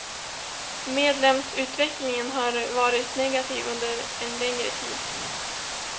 Medlemsutvecklingen har varit negativ under en längre tid.